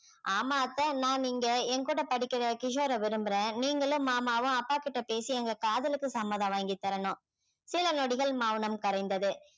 ஆமாம் அத்தை நான் இங்க என் கூட படிக்கிற கிஷோர விரும்புறேன் நீங்களும் மாமாவும் அப்பாகிட்ட பேசி எங்க காதலுக்கு சம்மதம் வாங்கி தரணும் சில நொடிகள் மௌனம் கரைந்தது